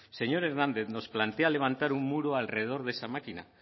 señor hernández nos plantea levantar un muro alrededor de esa máquina